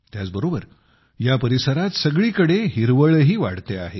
त्याचबरोबर या परिसरात सगळीकडे हिरवळही वाढते आहे